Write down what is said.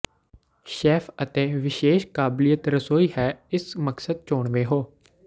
chef ਅਤੇ ਵਿਸ਼ੇਸ਼ ਕਾਬਲੀਅਤ ਰਸੋਈ ਹੈ ਇਸ ਮਕਸਦ ਚੋਣਵੇ ਹੋ